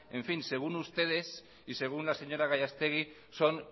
según ustedes y según la señora gallastegui son